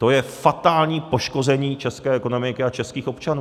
To je fatální poškození české ekonomiky a českých občanů.